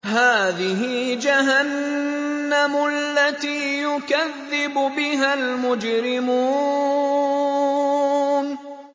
هَٰذِهِ جَهَنَّمُ الَّتِي يُكَذِّبُ بِهَا الْمُجْرِمُونَ